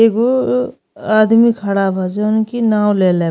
एगो आदमी खाड़ा बा जउन की नाव लेले --